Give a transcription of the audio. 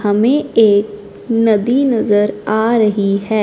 हमें एक नदी नजर आ रही है।